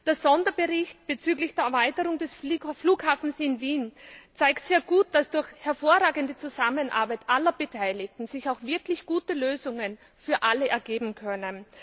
Der Sonderbericht bezüglich der Erweiterung des Flughafens in Wien zeigt sehr gut, dass durch hervorragende Zusammenarbeit aller Beteiligten sich auch wirklich gute Lösungen für alle ergeben können.